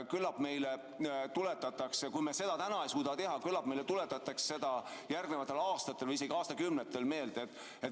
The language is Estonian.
Kui me seda täna ei suuda teha, siis küllap meile tuletatakse seda järgnevatel aastatel või isegi aastakümnetel meelde.